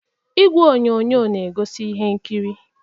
Igwe onyonyo na egosi ihe nkiri.